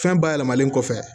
Fɛn bayɛlɛmalen kɔfɛ